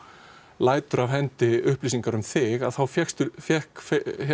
lætur af hendi upplýsingar um þig fékk fékk